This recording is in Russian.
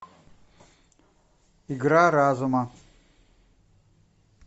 игра разума